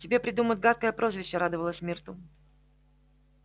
тебе придумают гадкое прозвище радовалась миртл